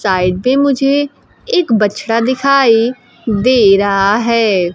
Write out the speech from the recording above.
Side पे मुझे एक बछड़ा दिखाई दे रहा है।